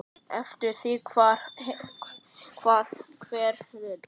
Eftir því hvað hver vill.